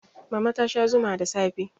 mama ta Sha Zuma da safe